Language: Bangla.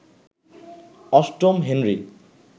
অষ্টম হেনরি